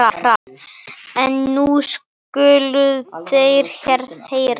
En nú skuluð þér heyra.